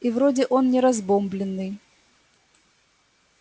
и вроде он не разбомблённый